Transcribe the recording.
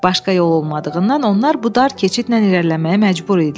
Başqa yol olduğunuudan onlar bu dar keçidlə irəliləməyə məcbur idilər.